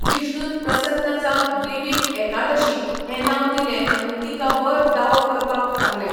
विष्णुन प्रसन्न जावन देवीक 'एकादशी' हें नांव दिलें आनी तिका वर दावो करपाक सांगलें.